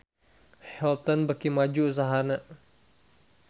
Hilton beuki maju usahana